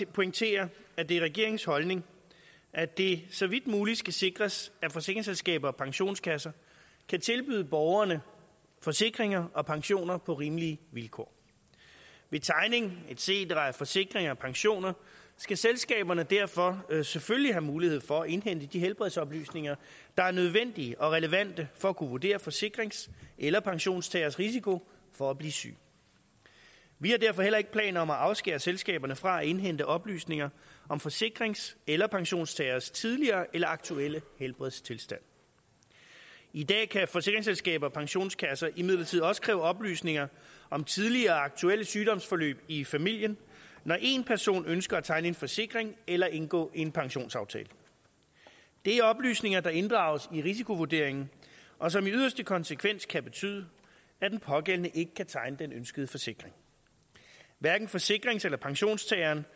at pointere at det er regeringens holdning at det så vidt muligt skal sikres at forsikringsselskaber og pensionskasser kan tilbyde borgerne forsikringer og pensioner på rimelige vilkår ved tegning et cetera af forsikringer og pensioner skal selskaberne derfor selvfølgelig have mulighed for at indhente de helbredsoplysninger der er nødvendige og relevante for at kunne vurdere forsikrings eller pensionstageres risiko for at blive syg vi har derfor heller ikke planer om at afskære selskaberne fra at indhente oplysninger om forsikrings eller pensionstageres tidligere eller aktuelle helbredstilstand i dag kan forsikringsselskaber og pensionskasser imidlertid også kræve oplysninger om tidligere og aktuelle sygdoms forløb i familien når en person ønsker at tegne en forsikring eller indgå en pensionsaftale det er oplysninger der inddrages i risikovurderingen og som i yderste konsekvens kan betyde at den pågældende ikke kan tegne den ønskede forsikring hverken forsikrings eller pensionstageren